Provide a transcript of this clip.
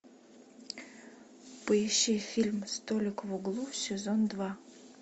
поищи фильм столик в углу сезон два